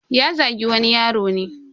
Ya Zagi wani yaro ne.